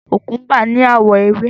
Kòkúḿbà ní àwọ̀ ewé.